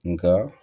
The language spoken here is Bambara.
Nka